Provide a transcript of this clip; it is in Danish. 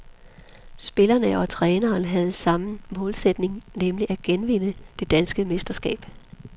Spillerne og træneren havde samme målsætning, nemlig at genvinde det danske mesterskab.